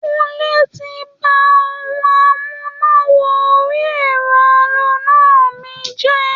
Kúnlé ti ba ohun amúná-wọ-orí-ẹ̀rọ aloná mi jẹ́.